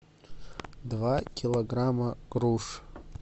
два килограмма груш